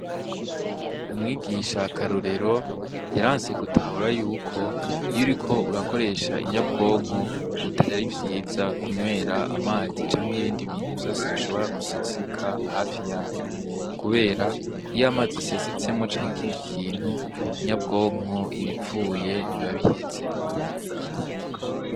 Umwigisha karorero yarase gutahura yuko iyuriko urakoresha inyabwonko atari vyiza kunywera amazi canke ibindi vyose bishobora guseseka iruhande yayo, kubera iyamazi asesetse canke ikindi kintu inyabwonko iba ipfuye biba biheze.